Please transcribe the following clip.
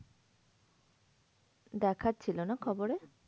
দেখাচ্ছিল না খবরে?